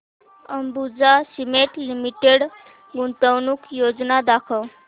Ambuja Cement Limited गुंतवणूक योजना दाखव